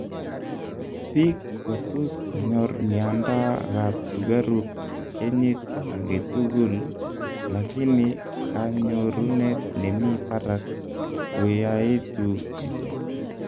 piik kotus konyor mianda ap sugaruk kenyit agetugul lagini kanyorunet nemii parak koyaetu chito